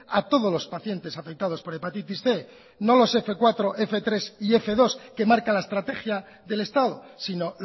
a todos los pacientes afectados por hepatitis cien no lo f cuatro f tres y f dos que marca la estrategia del estado sino